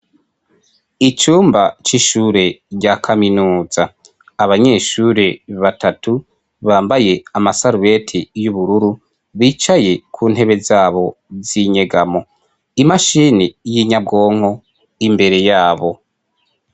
Icumba c'ishure rya kaminuza. Abanyeshure batatu bambaye amasarubeti y'ubururu, bicaye ku ntebe z'abo z'inyegamo, imashini y'inyabwonko imbere y'abo.